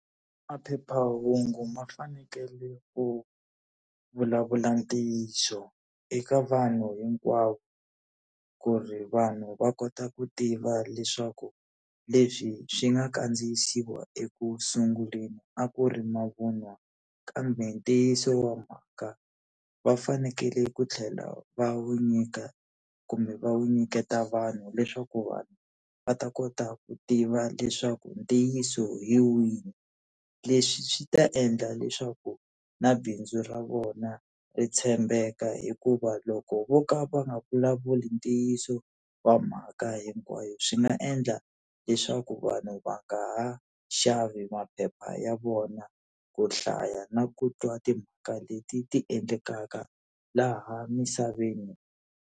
Maphephahungu ma fanekele ku vulavula ntiyiso eka vanhu hinkwavo ku ri vanhu va kota ku tiva leswaku leswi swi nga kandziyisiwa eku sunguleni a ku ri mavun'wa, kambe ntiyiso wa mhaka va fanekele ku tlhela va wu nyika kumbe va wu nyiketa vanhu leswaku vanhu va ta kota ku tiva leswaku ntiyiso hi wihi. Leswi swi ta endla leswaku na bindzu ra vona ri tshembeka hikuva loko vo ka va nga vulavuli ntiyiso wa mhaka hinkwayo swi nga endla leswaku vanhu va nga ha xavi maphepha ya vona, ku hlaya na ku twa timhaka leti ti endlekaka laha misaveni.